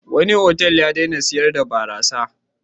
Wani otal ya daina sayar da barasa.